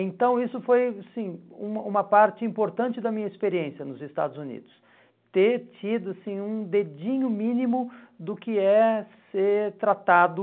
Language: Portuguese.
Então, isso foi assim uma uma parte importante da minha experiência nos Estados Unidos, ter tido assim um dedinho mínimo do que é ser tratado